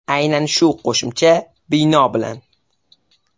Aynan shu qo‘shimcha bino bilan.